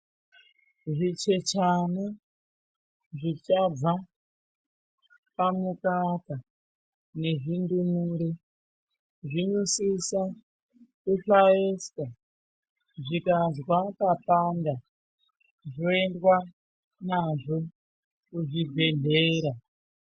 Zvichechane zvichabva pamukaka nezvindumure zvinosisa kuhlaiswa zvikazwa papanda zvoendwa nazvo kuzvibhedhlera.